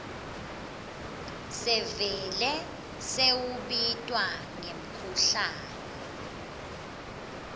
sevele sewubitwa ngemkhuhlane